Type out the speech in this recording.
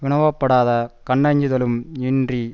வினாவப்படாத கண்ணஞ்சுதலும் இன்றி